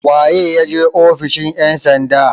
waye ya je ofishin ' yansanda?